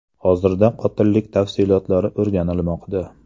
Hozirda qotillik tafsilotlari o‘rganilmoqda.